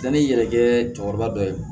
Taa ni yɛrɛ kɛ cɛkɔrɔba dɔ ye